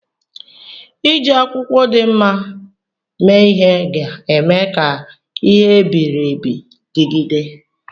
Iji akwụkwọ dị mma mee ihe ga-eme ka ihe e biri ebi dịgide.